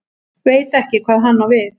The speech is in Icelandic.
Veit ekki hvað hann á við.